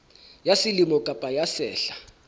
ya selemo kapa ya sehla